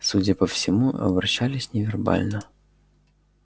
судя по всему общались невербально